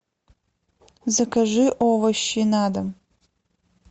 закажи овощи на дом